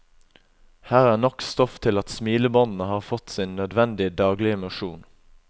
Her er nok stoff til at smilebåndene har fått sin nødvendige daglige mosjon.